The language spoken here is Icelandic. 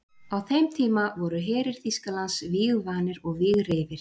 Á þeim tíma voru herir Þýskalands vígvanir og vígreifir.